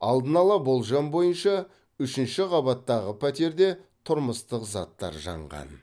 алдын ала болжам бойынша үшінші қабаттағы пәтерде тұрмыстық заттар жанған